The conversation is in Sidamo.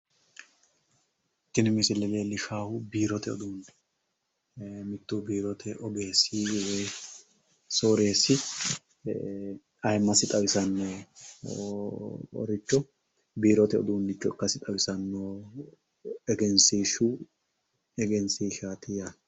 Tini misile leellishshaahu biirote uduunne mittu biirote ogeessi woyi sooreessi ayimmasi xawisannoricho biirote uduunnicho ikkasi xawisanno egensiishshu egensiishshaati yaate.